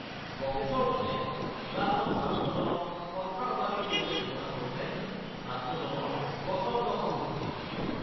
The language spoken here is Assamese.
প্ৰফেছৰজনে ক্লাছত ছাত্ৰজনক সন্ত্ৰাসবাদীৰ সৈতে তুলনা কৰোঁতে ছাত্ৰজনৰ প্ৰচণ্ড খং উঠিছিল।